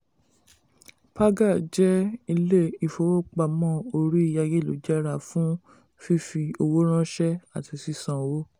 paga jẹ́ ilé ìfowópamọ orí ayélujára fún fífi owó ránṣẹ́ àti sísan owó.